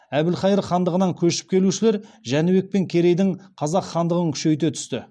әбілхайыр хандығынан көшіп келушілер жәнібек пен керейдің қазақ хандығын күшейте түсті